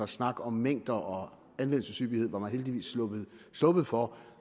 snak om mængder og anvendelseshyppighed var man heldigvis sluppet for